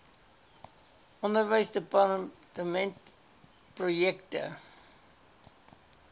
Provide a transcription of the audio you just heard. onderwysdepartementprojekte